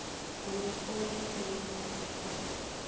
o be o le lelalaphaephe